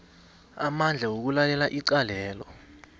amandla wokulalela icalelo